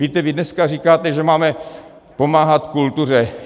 Víte, vy dneska říkáte, že máme pomáhat kultuře.